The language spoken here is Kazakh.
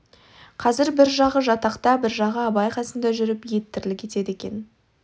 қазір бір жағы жатақта бір жағы абай қасында жүріп еттірлік етеді екен